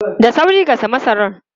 Da sauri gasa masara!